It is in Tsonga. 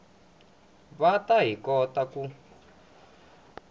va hi ta kota ku